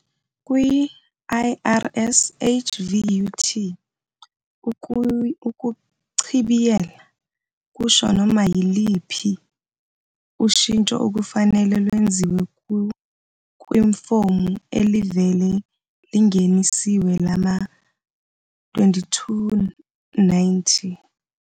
Kwi-IRS HVUT, ukuchibiyela kusho noma yiluphi ushintsho okufanele lwenziwe kwifomu elivele lingenisiwe lama-2290.